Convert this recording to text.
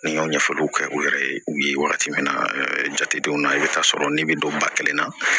Ni n ka ɲɛfɔliw kɛ u yɛrɛ ye u ye wagati min na jatedenw na i bɛ taa sɔrɔ ne bɛ don ba kelen na